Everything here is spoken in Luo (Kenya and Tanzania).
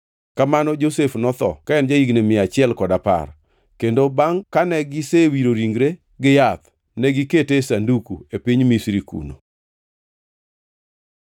Kamano Josef notho ka en ja-higni mia achiel kod apar. Kendo bangʼ kane gisewiro ringre gi yath, negikete e sanduku e piny Misri kuno.